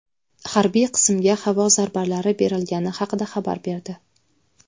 harbiy qismga havo zarbalari berilgani haqida xabar berdi.